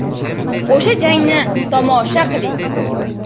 O‘sha jangni tomosha qiling !